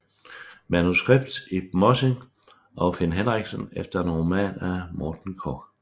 Manuskript Ib Mossin og Finn Henriksen efter en roman af Morten Korch